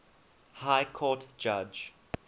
high court judge